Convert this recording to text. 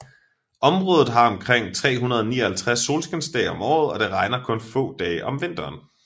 Området har omkring 359 solskinsdage om året og det regner kun få dage om vinteren